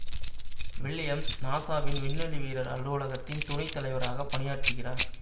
Williams நாசாவின் விண்வெளி வீரர் அலுவலகத்தின் துணை தலைவராக பணியாற்றுகிறார்